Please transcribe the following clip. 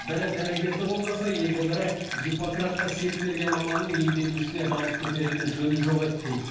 бірі дәрігерді қолдаса енді бірі гиппократқа серт берген маманның емделушісіне дауыс көтеретін жөні жоқ еді дейді